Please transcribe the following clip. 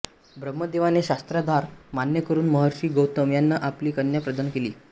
ब्रह्मदेवाने शास्त्राधार मान्य करून महर्षी गौतम यांना आपली कन्या प्रदान केली